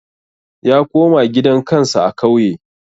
Ya koma gidan kansa a kauye